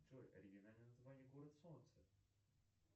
джой оригинальное название город солнца